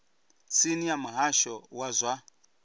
tsini ya muhasho wa zwa